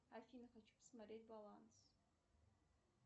афина хочу посмотреть баланс